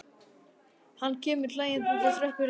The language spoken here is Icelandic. Hann kemur hlæjandi út á tröppurnar.